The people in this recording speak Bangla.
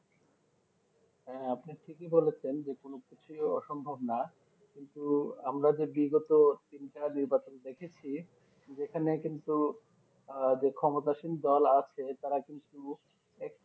হ্যাঁ আপনি ঠিকই বলেছেন যে কোনো কিছুই অসম্ভব না কিন্তু আমরা যে বিগত তিনটা নির্বাচন দেখেছি যেখানে কিন্তু আহ যে ক্ষমতা শীল দল আছে তারা কিন্তু